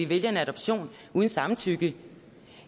vælger en adoption uden samtykke